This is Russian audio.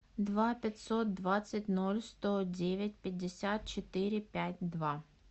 два пятьсот двадцать ноль сто девять пятьдесят четыре пять два